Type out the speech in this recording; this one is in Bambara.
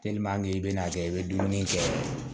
i bɛ n'a kɛ i bɛ dumuni kɛ